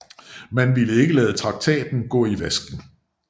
Man ville ikke lade traktaten gå i vasken